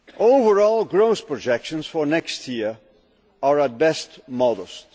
Overall growth projections for next year are at best modest.